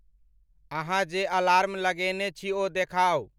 अहाँजे alarm लगेने छी ओ देखाउ